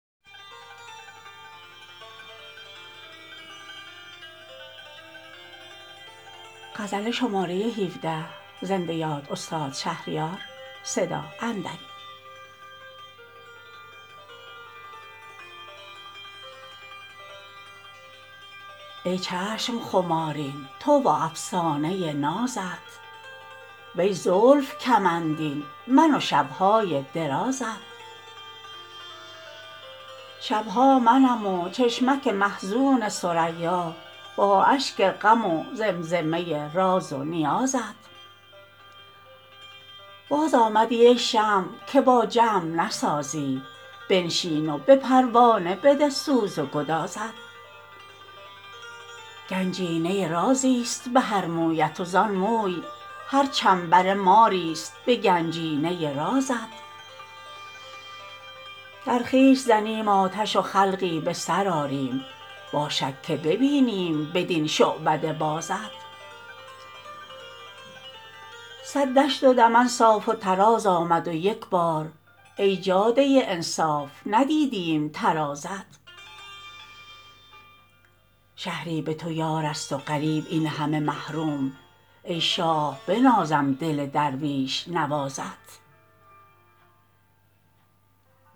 ای چشم خمارین تو و افسانه نازت وی زلف کمندین من و شب های درازت شب ها منم و چشمک محزون ثریا با اشک غم و زمزمه راز و نیازت خود کیستی ای نغمه نوازنده بی سیم امشب به جگر می خوردم زخمه سازت بازآمدی ای شمع که با جمع نسازی بنشین و به پروانه بده سوز و گدازت سر کن به شب و ناله شبگیر من ای دل تا شبرو عشقیم نشیب است و فرازت خوانند نمازم من اگر قبله ندانم ای کعبه دل ها که بخوانم به نمازت گنجینه رازی ست به هر مویت و زان موی هر چنبره ماری ست به گنجینه رازت ای سیب بهشتی به لب و گونه گلگون داغ است دل لاله که دیوی زده گازت در خویش زنیم آتش و خلقی به سر آریم باشد که ببینیم بدین شعبده بازت صد دشت و دمن صاف و تراز آمد و یک بار ای جاده انصاف ندیدیم ترازت شهری به تو یار است و غریب این همه محروم ای شاه بنازم دل درویش نوازت